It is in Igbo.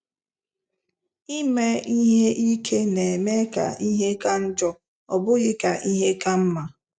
Ime ihe ike na - eme ka ihe ka njọ, ọ bụghị ka ihe ka mma. ”